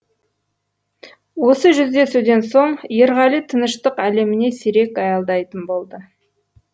осы жүздесуден соң ерғали тыныштық әлеміне сирек аялдайтын болды